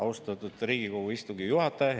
Austatud Riigikogu istungi juhataja!